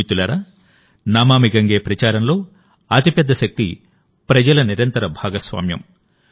మిత్రులారా నమామి గంగే ప్రచారంలో అతిపెద్ద శక్తి ప్రజల నిరంతర భాగస్వామ్యం